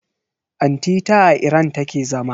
Anti ta a Iran take zama.